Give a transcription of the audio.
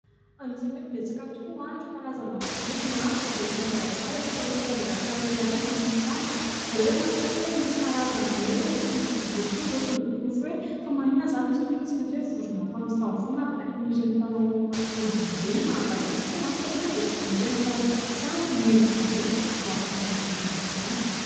Anisany hoe betsaka tokoa ireo karazana vorona sy biby eto Madagasikara izay tena hoe eto Madagasikara irery ihany no misy azy. Raha hoe mahatsikaritra hoe misy karazany hoe itony vorondolo itony izao dia ny nataoko ny ohatry hoe fa maninona izany izy itony hoe tsy maintsy ho vorona mpamosavy foana ary baikoin' ireny mpanao ody ireny mahagaga tokoa, kanefa dia vorona tena ny farak'izay tsara ny endrika izany hoe vorondolo izany.